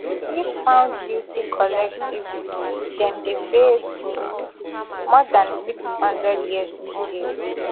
if found guilty collectively dem dey face more dan six hundred years in jail